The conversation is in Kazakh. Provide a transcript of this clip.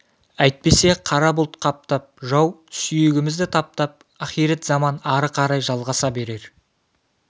әйтпесе қара бұлт қаптап жау сүйегімізді таптап ахирет заман ары қарай жалғаса берер